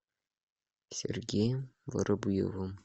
сергеем воробьевым